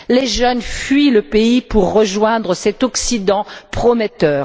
Les jeunes fuient le pays pour rejoindre cet Occident prometteur.